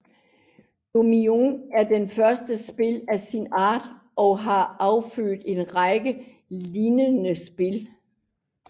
Dominion er det første spil af sin art og har affødt en række lignende spil